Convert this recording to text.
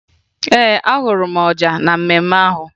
Ee, afụrụ m ọja na mmemme ahụ